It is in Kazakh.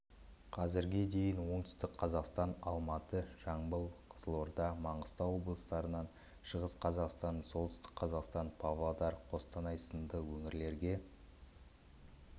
қазірге дейін оңтүстік қазақстан алматы жамбыл қызылорда маңғыстау облыстарынан шығыс қазақстан солтүстік қазақстан павлодар қостанай сынды өңірлерге